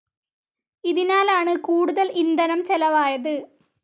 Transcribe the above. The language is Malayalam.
ഇതിനാലാണ് കൂടുതൽ ഇന്ധനം ചെലവായത്.